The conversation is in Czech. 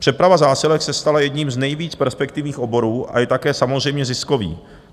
Přeprava zásilek se stala jedním z nejvíc perspektivních oborů a je také samozřejmě ziskový.